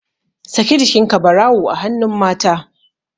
Saki jikinka barawu a hannun mata